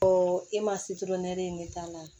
Ɔ e ma ne ta la